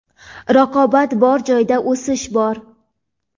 raqobat bor joyda o‘sish bor.